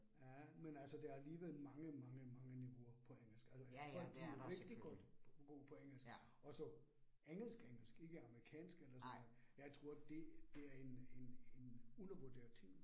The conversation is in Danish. Ja, men altså der alligevel mange mange mange niveauer på engelsk, altså folk bliver rigtig godt gode på engelsk, og så engelsk engelsk ikke amerikansk engelsk, jeg tror det det er en en en undervurderet ting